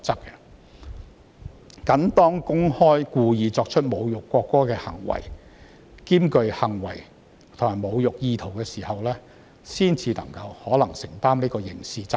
只是當公開故意作出侮辱國歌的行為，且行為具侮辱意圖時，才可能需要承擔刑事責任。